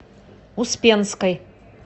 успенской